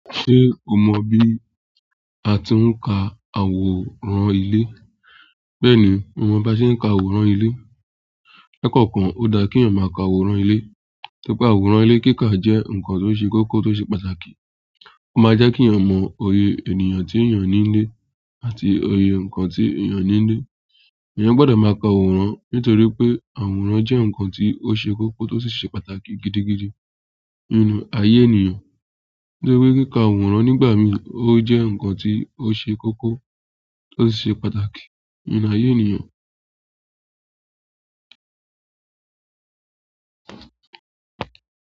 Ṣé o mọ bí a ti ń ka àwòrán ilé? Bẹ́ẹ̀ni mo mọ bí a ṣe ń ka àwòrán ilé? Lẹ́kọ̀ọ̀kan, ó dá kí èèyàn máa ka àwòrán ilé. To rí wípé àwòrán ilé kíkà jẹ́ ǹkan tó ṣe kókó, tó ṣe pàtàkì. Ó máa jẹ́ kí èèyàn mọ iye ènìyàn tí èèyàn ní nílé àti oyè ǹkan tí èèyàn ní nílé. Ẹ̀yàn gbọ́dọ̀ máa ka àwòrán nítorí pé àwòrán jẹ́ ǹkan tó ṣe kókó, tó sì ṣe pàtàkì gidigidi nínú ayé ènìyàn. To rí kíkà àwòrán nígbà mí ò jẹ́ ǹkan tó ṣe kókó, tó sì ṣe pàtàkì nínú ayé ènìyàn.